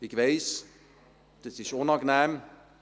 Ich weiss: Das ist unangenehm.